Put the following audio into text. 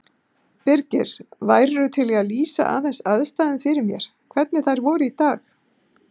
Birgir, værirðu til í að lýsa aðeins aðstæðum fyrir mér, hvernig þær voru í dag?